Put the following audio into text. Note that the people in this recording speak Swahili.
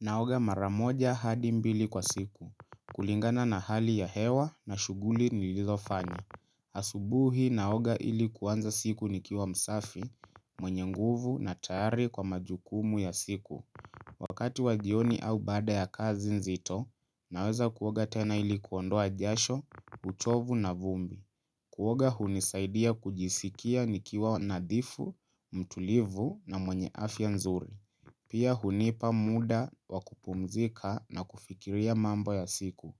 Naoga mara moja hadi mbili kwa siku. Kulingana na hali ya hewa na shuguli nilizo fanya. Asubuhi naoga ilikuanza siku nikiwa msafi, mwenye nguvu na tayari kwa majukumu ya siku. Wakati wajioni au baada ya kazi nzito, naweza kuoga tena ilikuondoa jasho, uchovu na vumbi. Kuoga hunisaidia kujisikia nikiwa nadhifu, mtulivu na mwenye afya nzuri. Pia hunipa muda wa kupumzika na kufikiria mambo ya siku.